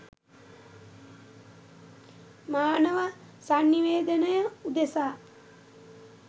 මානව සන්නිවේදනය උදෙසා